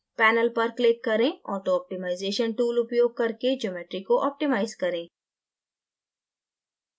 panel पर click करें autooptimization tool उपयोग करके geometry को optimize करें